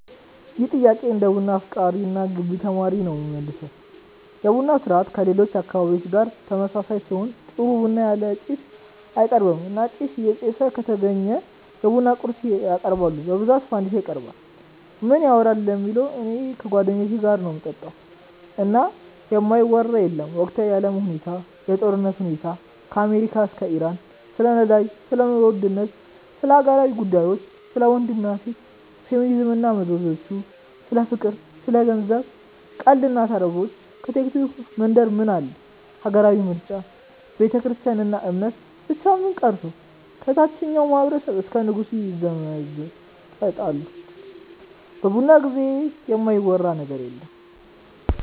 ይህን ጥያቄ እንደ ቡና አፍቃሪ እና የገቢ ተማሪ ነው የምመልሰው። የቡና ስርአቱ ከሌሎች አካባቢዎች ጋር ተመሳሳይ ሲሆን ጥሩ ቡና ያለ ጭስ አይቀርብም እና ጭስ እየጨሰ ከተገኘ የቡና ቁርስ ያቀርባሉ በብዛት ፈንዲሻ ይቀርባል። ምን ይወራል ለሚለው እኔ ከጓደኞቼ ጋር ነው ምጠጣው እና የማይወራ የለም ወቅታዊ የአለም ሁኔታ፣ የጦርነቱ ሁኔታ ከአሜሪካ እስከ ኢራን፣ ስለ ነዳጅ፣ ስለ ኑሮ ውድነት፣ ስለ ሀገራዊ ጉዳዮች፣ ስለ ወንድ እና ሴት፣ ፌሚኒዝም እና መዘዞቹ፣ ስለ ፍቅር፣ ስለ ገንዘብ፣ ቀልዶች እና ተረቦች፣ ከቲክቶክ መንደር ምን አለ፣ ሀገራዊ ምርጫ፣ ቤተክርስትያን እና እምነት፣ ብቻ ምን ቀርቶ ከታቸኛው ማህበረሰብ እስከ ንጉሱ ይዘመጠጣሉ በቡና ጊዜ የማይወራ ነገር የለም።